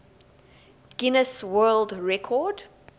guinness world record